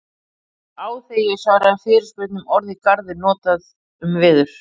Mér varð á þegar ég svaraði fyrirspurn um orðið garður notað um veður.